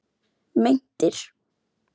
Meintir